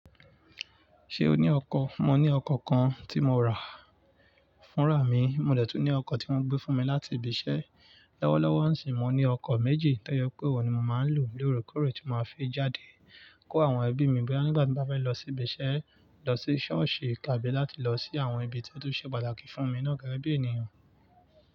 Ṣé o ní ọkọ̀? Mo ní ọkọ̀ kan tí mo rà fúnra mi, mo dẹ̀ tún ní ọkọ̀ tí wọ́n gbé fún mi láti ibi iṣẹ́. Lọ́wọ́lọ́wọ́ sì, mo ní ọkọ̀ méjì, tó yẹ pé òhun ni mo máa ń lò lóòrèkóòrè tí màá fi jáde kó àwọn ẹbí mi. Bí bá nígbà tí bá fẹ́ lọ sí ibi iṣẹ́, lọ sí ṣọ́ọ̀ṣì tàbí láti lọ sí àwọn ibi tí ó tó ṣe pàtàkì fún mi náà gẹ́gẹ́ bí ènìyàn.